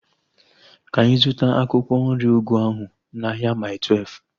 Ka anyị zụta akwụkwọ nri ugu ahu n'ahia Mai Twelfu